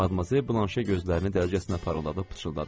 Madmazel Blanşe gözlərini dərcəsinə parladıb pıçıldadı.